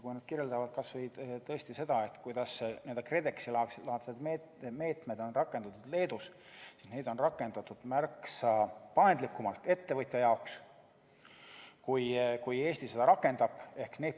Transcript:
Kui nad kirjeldavad kas või seda, kuidas Leedus on rakendatud n-ö KredExi-laadseid meetmeid, siis selgub, et neid on rakendatud ettevõtja jaoks märksa paindlikumalt, kui Eesti seda teeb.